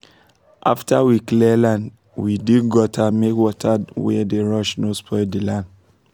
after we clear land we dig gutter make water wey dey rush no spoil the land